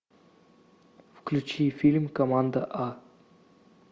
включи фильм команда а